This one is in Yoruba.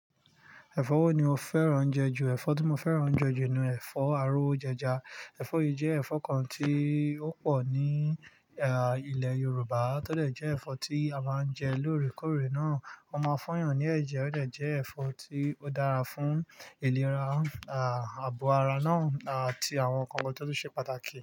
Ẹ̀fọ́ wo ni o fẹ́ràn je jù? Ẹ̀fọ́ tí mo fẹ́ràn jù jẹ ni ẹ̀fọ́ arówo jẹja. Ẹ̀fọ́ yìí jẹ́ ẹ̀fọ́ kan tí ó pọ̀ ní, àh, ilẹ̀ Yorùbá, tó dé jẹ́ ẹ̀fọ́ tí a máa ń jẹ lóòrèkóòrè náà. Wọ́n máa fun yàn ní ẹ̀jẹ̀, ó dẹ́ jẹ́ ẹ̀fọ́ tí ó dára fún ìlera, àh, ààbò ara náà àti àwọn nnkan kan to tun ṣe pàtàkì.